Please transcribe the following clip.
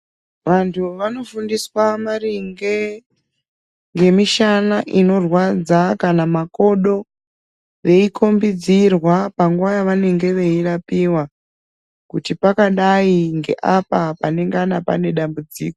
Vantu vanofundiswa maringe ngemishana inorwadza kana makodo veikhombidzirwa panguva yavanenge veirapiwa kuti pakadai ngeapa panengana pane dambudziko.